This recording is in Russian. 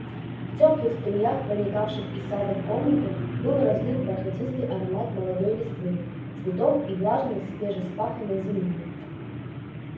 в тёплых струях проникавших из сада в комнату был разлит бархатистый аромат молодой листвы цветов и влажной свежевспаханной земли